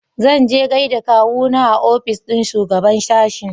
Zanje gaida kawuna a ofis ɗin shugaɓan sashen.